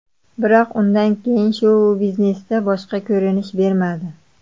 Biroq undan keyin shou-biznesda boshqa ko‘rinish bermadi.